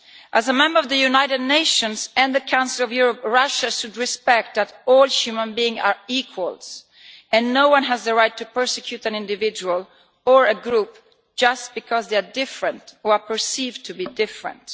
As a member of the United Nations and the Council of Europe, Russia should respect that all human beings are equal and no one has the right to persecute an individual or a group just because they are different or are perceived to be different.